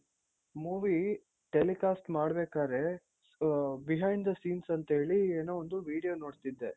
movie telecast ಮಾಡ್ಬೇಕಾದ್ರೆ so behind the scenes ಅಂತೇಳಿ ಏನೋ ಒಂದು video ನೋಡ್ತೀದ್ದೆ.